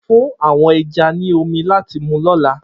Fun awọn ẹja ni omi lati mu ni ọla!